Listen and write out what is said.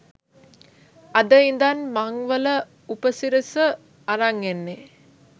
අද ඉඳන් මංවල උපසිරස අරන් එන්නේ